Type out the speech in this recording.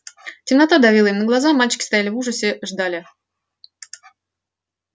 темнота давила им на глаза мальчики стояли и в ужасе ждали